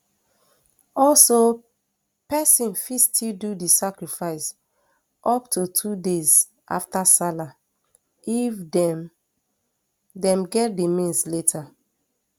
also pesin fit still do di sacrifice up to two days afta sallah if dem dem get di means later